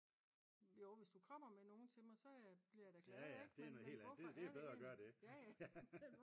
jo hvis du kommer med nogen til mig så bliver jeg da glad